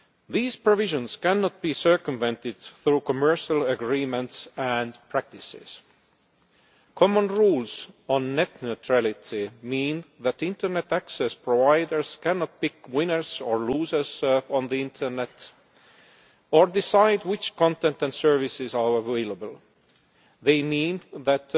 These provisions cannot be circumvented through commercial agreements and practices. Common rules on net neutrality mean that internet access providers cannot pick winners or losers on the internet or decide which content and services are available. They mean that